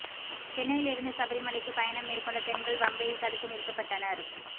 சென்னையில் இருந்து சபரிமலைக்கு பயணம் மேற்கொண்ட பெண்கள் பம்பையில் தடுத்து நிறுத்தப்பட்டனர்